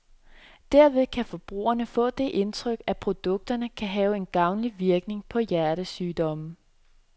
Derved kan forbrugerne få det indtryk, at produkterne kan have en gavnlig virkning på hjertesygdomme.